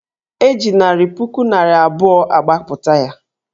E ji narị puku naịra abụọ gbapụta ya